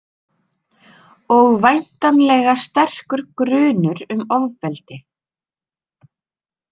Og væntanlega sterkur grunur um ofbeldi.